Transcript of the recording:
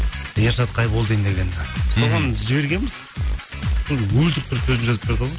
ершат қайболдин деген соған жібергенбіз соны өлтіріп тұрып сөзін жазып берді ғой